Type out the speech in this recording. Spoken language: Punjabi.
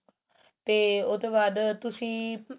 ਤੇ ਉਸ ਤੋਂ ਬਾਅਦ ਤੁਸੀਂ